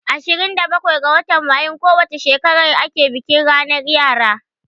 Ashirin da bakwai ga watan Mayun ko wace shekara ake bikin ranar yara.